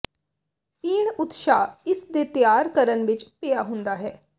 ਪੀਣ ਉਤਸ਼ਾਹ ਇਸ ਦੇ ਤਿਆਰ ਕਰਨ ਵਿੱਚ ਪਿਆ ਹੁੰਦਾ ਹੈ